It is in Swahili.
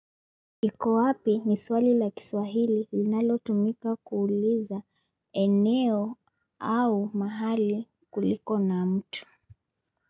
Iko wapi ni swali la kiswahili linalo tumika kuuliza eneo au mahali kuliko na mtu.